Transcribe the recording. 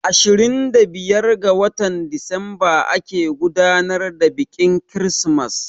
Ashirin da biyar ga watan Disamba ake gudanar da biƙin kirismas